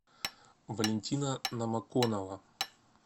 валентина номоконова